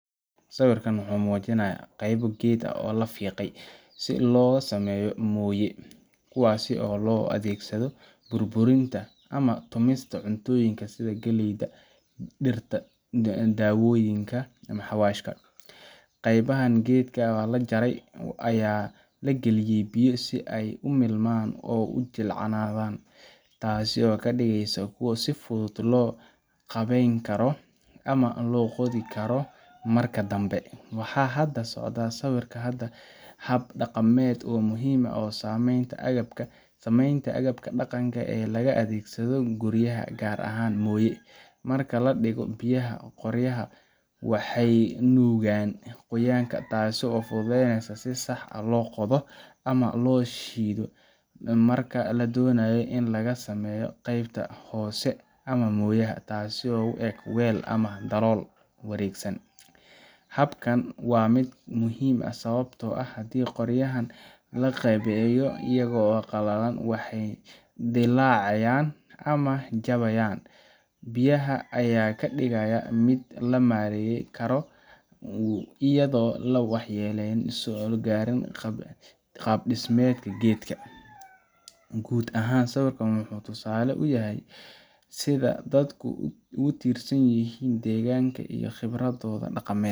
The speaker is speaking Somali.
Sawirka wuxuu muujinayaa qaybo geed ah oo la fiiqay si loogu sameeyo mooye ama moortarka, kuwaas oo loo adeegsado burburinta ama tumista cuntooyinka sida galleyda, dhirta dawooyinka, ama xawaashka. Qaybahaan geedka ah ee la jaray ayaa la geliyay biyo, si ay u milmaan oo u jilcaanadan, taasoo ka dhigaysa kuwo si fudud loo qaabeyn karo ama loo qodi karo marka dambe. Waxa hadda ka socda sawirka waa hab dhaqameed oo muhiim u ah samaynta agabka dhaqanka ee la adeegsado guryaha, gaar ahaan mooye. Marka la dhigo biyaha, qoryaha waxay nuugaan qoyaanka, taasoo fududeysa in si sax ah loo qodo ama loo shiido marka la doonayo in laga sameeyo qaybta hoose ee mooyaha, taasoo u eg weel ama dalool wareegsan. Habkan waa mid muhiim ah, sababtoo ah haddii qoryaha la qaabeeyo iyaga oo qallalan, waxay dillaacayaan ama jabayaan. Biyaha ayaa ka dhigaya mid la maareyn karo, iyadoo aan waxyeello soo gaarin qaab-dhismeedka geedka. Guud ahaan, sawirkan wuxuu tusaale cad u yahay sida dadku ugu tiirsan yihiin deegaanka iyo khibradooda dhaqameed